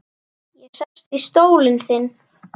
Ég sest í stólinn þinn.